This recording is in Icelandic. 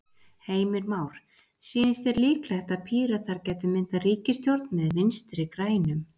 Heimir Már: Sýnist þér líklegt að Píratar gætu myndað ríkisstjórn með Vinstri-grænum?